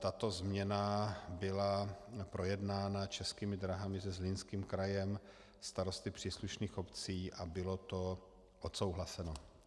Tato změna byla projednána Českými dráhami se Zlínským krajem, starosty příslušných obcí a bylo to odsouhlaseno.